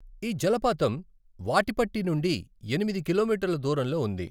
ఈ జలపాతం వాటిపట్టి నుండి ఎనిమిది కిలోమీటర్ల దూరంలో ఉంది.